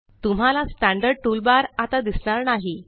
तुम्हाला standard toolbar आता दिसणार नाही